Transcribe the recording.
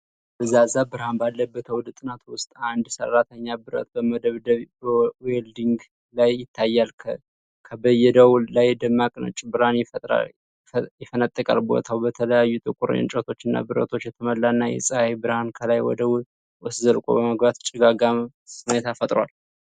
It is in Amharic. ደብዛዛ ብርሃን ባለበት አውደ ጥናት ውስጥ፣ አንድ ሰራተኛ ብረት በመበየድ (በዌልዲንግ) ላይ ይታያል። ከበየዳው ላይ ደማቅ ነጭ ብርሃን ይፈነጥቃል። ቦታው በተለያዩ ጥቁር እንጨቶችና ብረቶች የተሞላና፣ የፀሐይ ብርሃን ከላይ ወደ ውስጥ ዘልቆ በመግባት ጭጋጋማ ሁኔታ ፈጥሯል።